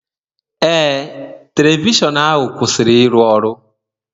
Ee, telivishọn ahu kwụsịrị ịrụ ọrụ.